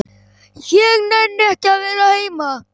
Ég nenni ekki að vera heima.